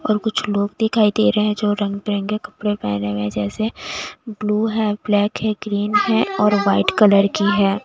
और कुछ लोग दिखाई दे रहे हैं जो रंग बिरंगे कपड़े पहने हुए हैं जैसे ब्लू है ब्लैक है ग्रीन है और व्हाइट कलर की है।